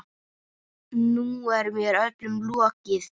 Nú er mér öllum lokið.